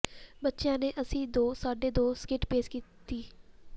ਬੱਚਿਆਂ ਨੇ ਅਸੀ ਦੋ ਸਾਡੇ ਦੋ ਸਕਿੱਟ ਪੇਸ਼ ਕੀਤੀ